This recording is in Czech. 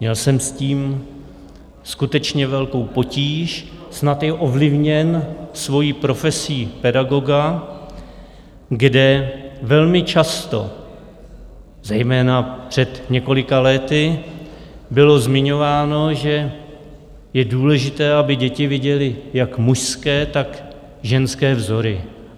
Měl jsem s tím skutečně velkou potíž, snad i ovlivněn svojí profesí pedagoga, kde velmi často, zejména před několika lety, bylo zmiňováno, že je důležité, aby děti viděly jak mužské, tak ženské vzory.